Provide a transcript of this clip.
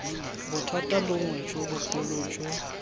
bothata bongwe jo bogolo jo